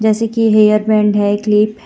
जैसे की hair band है क्लिप है.